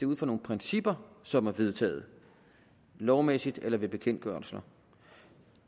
ud fra nogle principper som er vedtaget lovmæssigt eller ved bekendtgørelser